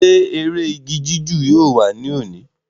ṣé eré igi jíjù yóò wà ní òní?